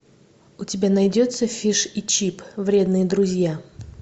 у тебя найдется фиш и чип вредные друзья